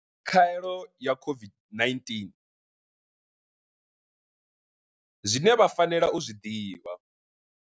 Khaelo ya COVID-19, zwine vha fanela u zwi ḓivha.